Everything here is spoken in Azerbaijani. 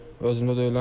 Özümdə deyiləm.